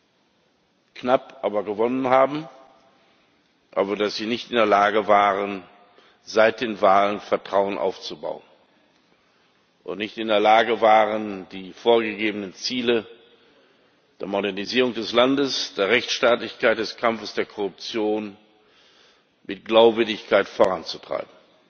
wenn auch knapp aber dass sie nicht in der Lage waren, seit den Wahlen Vertrauen aufzubauen, und nicht in der Lage waren, die vorgegebenen Ziele der Modernisierung des Landes, der Rechtsstaatlichkeit und des Kampfes gegen die Korruption mit Glaubwürdigkeit voranzutreiben.